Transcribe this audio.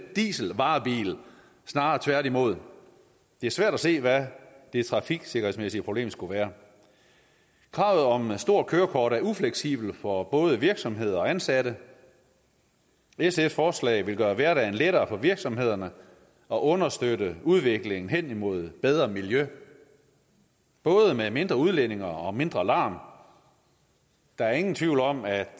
dieselvarebil snarere tværtimod det er svært at se hvad det trafiksikkerhedsmæssige problem skulle være kravet om stort kørekort er ufleksibelt for både virksomheder og ansatte sfs forslag vil gøre hverdagen lettere for virksomhederne og understøtte udviklingen hen imod bedre miljø både med mindre udledning og mindre larm der er ingen tvivl om at